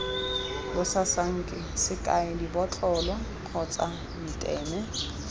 basasanki sekai dibotlolo kgotsa meteme